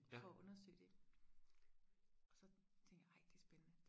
for og undersøge det og så tænkte jeg ej det er spændende